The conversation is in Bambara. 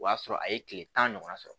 O y'a sɔrɔ a ye kile tan ɲɔgɔn sɔrɔ